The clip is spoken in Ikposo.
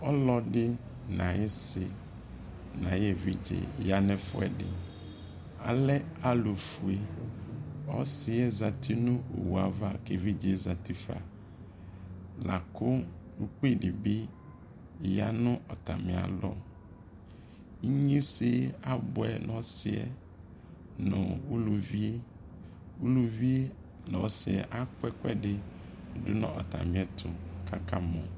ɔlɔdi nʋ ayaisi nʋ ayi ɛvidzɛ yanʋ ɛƒʋɛdi ,alɛ alʋ ƒʋɛ, ɔsiɛ zati nʋ ɔwʋɛ aɣa kʋ ɛvidzɛ zati ƒa, lakʋ ʋkpi dibi yanʋ atami alɔ, inyɛnzɛ abʋɛ nʋ ɔsiiɛ nʋ ʋlʋviɛ, ʋlʋviɛ nʋ ɔsiiɛ akɔ ɛkʋɛdi dʋnʋ atami ɛtʋkʋ akamɔ